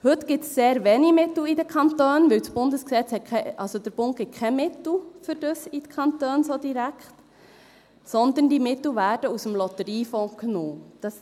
Heute gibt es sehr wenige Mittel in den Kantonen, weil der Bund den Kantonen dafür so direkt keine Mittel gibt, sondern diese Mittel aus dem Lotteriefonds genommen werden.